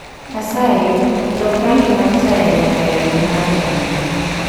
Asayi lok rangi mar taya nyaka e rangi mar jamna